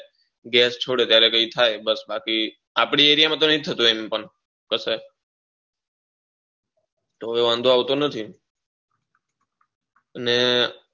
gas છોડે ત્યારે કઈ થાય બસ આપળી એરિયા માં તો નહી થથી એમ પણ તો વાંધો આવતો નથી અને